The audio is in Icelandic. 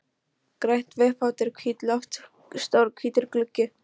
Grænt veggfóður, hvítt loft, stór hvítur gluggi.